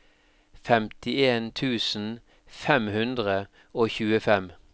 femtien tusen fem hundre og tjuefem